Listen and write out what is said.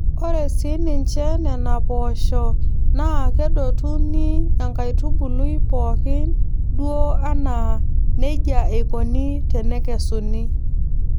Ore sii ninche Nena poosho naa kedotuni enkaitubului pooki duo anaa neija eikoni tenekesuni.